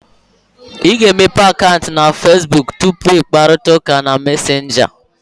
Ị ga-emepe akaụntụ na Fesbuk tupu ị kparịta ụka na Mesenga